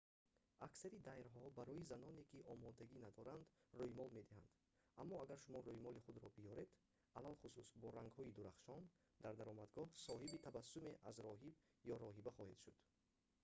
аксари дайрҳо барои заноне ки омодагӣ надоранд рӯймол медиҳанд аммо агар шумо рӯймоли худро биёред алахусус бо рангҳои дурахшон дар даромадгоҳ соҳиби табассуме аз роҳиб ё роҳиба хоҳед шуд